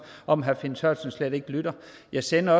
om herre finn sørensen slet ikke lytter jeg sender